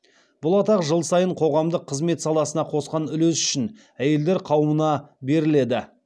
бұл атақ жыл сайын қоғамдық қызмет саласына қосқан үлесі үшін әйелдер қауымына беріледі